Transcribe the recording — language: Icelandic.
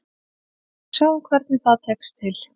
Sjáum hvernig það tekst til.